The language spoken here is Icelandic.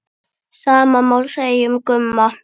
Sama má segja um Gumma.